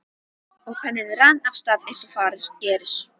Og penninn rann af stað eins og fara gerir.